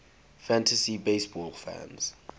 fantasy baseball fans